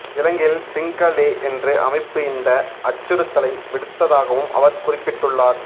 இலங்கையில் சிங்ஹ லே என்று அமைப்பு இந்த அச்சுறுத்தலை விடுத்ததாகவும் அவர் குறிப்பிட்டுள்ளார்